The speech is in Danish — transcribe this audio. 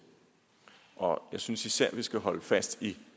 og jeg synes især vi skal holde fast i